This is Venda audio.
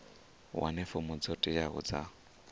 wane fomo dzo teaho dza